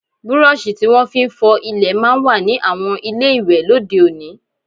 Burọ̀ṣì tí wọ́n fi ń fọ ilẹ̀ máa ń wà ní àwọn ilé ìwẹ̀ lóde òní